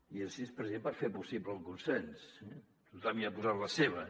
i així és per fer possible el consens tothom hi ha posat la seva